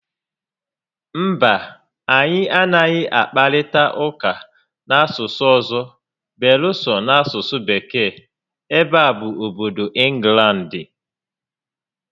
Mba, anyị anaghị akparịta ụka n'asụsụ ọzọ beere so n'asụsụ Bekee, ebe a bụ obodo Ịnglandị